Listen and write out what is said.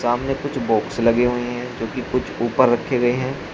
सामने कुछ बॉक्स लगे हुए है जोकि कुछ ऊपर रखे गए है।